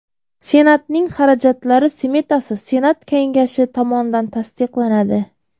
Senatning xarajatlari smetasi Senat Kengashi tomonidan tasdiqlanadi.